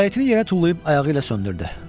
Siqaretini yerə tullayıb ayağı ilə söndürdü.